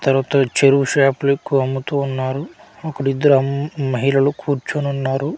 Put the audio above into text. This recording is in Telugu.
తర్వాత చెరువు షాపలెక్కువ అమ్ముతూ ఉన్నారు అక్కడిద్దరమ్ మహిళలు కూర్చోనున్నారు.